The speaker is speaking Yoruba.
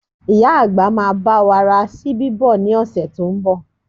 Ìyá àgbà máa bá wa ra ṣíbí bọ̀ ní ọ̀sẹ̀ tó ń bọ̀